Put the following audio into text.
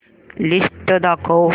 list दाखव